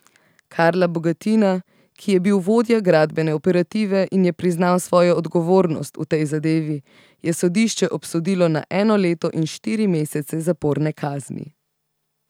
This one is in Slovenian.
Karla Bogatina, ki je bil vodja gradbene operative in je priznal svojo odgovornost v tej zadevi, je sodišče obsodilo na eno leto in štiri mesece zaporne kazni.